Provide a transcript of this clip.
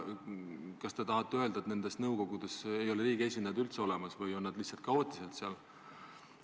Kas te tahate öelda, et nendes nõukogudes ei ole riigi esindajaid üldse olemas või on nad lihtsalt kaootiliselt seal?